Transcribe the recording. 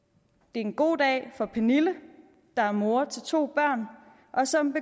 det er en god dag for pernille der er mor til to børn og som